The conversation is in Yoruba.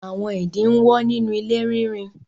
Àwọn ìdin ń wọ́ nínú ilé rínrin